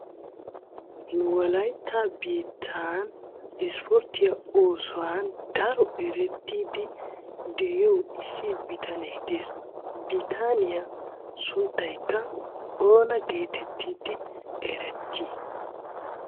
Nu wolayitta biittan ispporttiyaa oosuwan daro erettidi de"iyo issi bitane de'ees. Bitaniya sunttaykka oona geetettidi eretti?